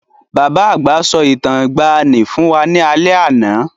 Bàbá àgbà sọ Ìtàn ìgbaànì fún wá ní alé àná.